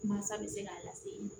Mansa bɛ se k'a lase